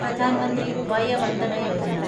Pradhan Mantri Vaya Vandana Yojana